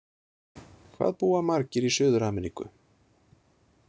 Hvað búa margir í Suður-Ameríku?